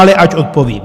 Ale ať odpovím.